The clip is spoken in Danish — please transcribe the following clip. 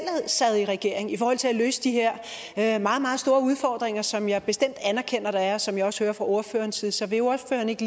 sad i regering i forhold til at løse de her meget meget store udfordringer som jeg bestemt anerkender der er og som jeg også hører fra ordførerens side så vil ordføreren ikke